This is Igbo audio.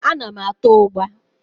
Ana m ata ụgbá.